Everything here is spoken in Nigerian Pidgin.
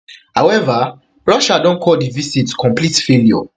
however russia don call di visit complete failure